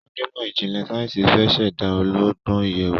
Onímò ijinlẹ sáyẹnsì fẹ ṣ'èdá ọlọgbọn ìyèwù